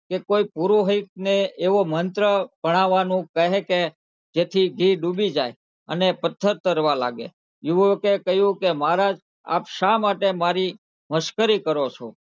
કે કોઈક પુરોહિતને એવો મંત્ર પઢાવાનો કહે કે જેથી ઘી ડૂબી જાય અને પથ્થર તરવા લાગે યુવકે કહ્યું કે મહારાજ આપ શા માટે મારી મશ્કરી કરો છો.